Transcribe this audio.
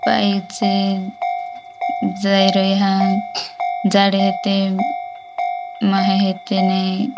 पाइप छेन जाई रई हन झाड़ हेते माहे हेते नई --